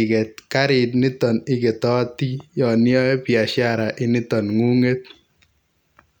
iket kariniton iketoti yon iyoe biasharainiton ngunget.